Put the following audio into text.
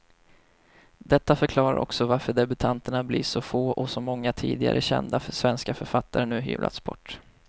Detta förklarar också varför debutanterna blir så få och så många tidigare kända svenska författare nu hyvlats bort.